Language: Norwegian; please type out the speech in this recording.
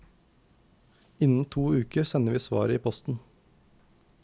Innen to uker sender vi svaret i posten.